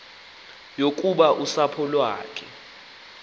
yokuba usapho lwakhe